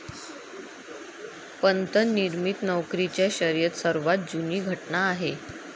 पंत निर्मित नोकरीच्या शर्यत सर्वात जुनी घटना आहे